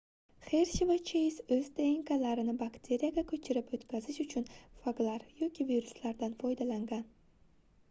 xershi va cheyz oʻz dnklarini bakteriyaga koʻchirib oʻtkazish uchun faglar yoki viruslardan foydalangan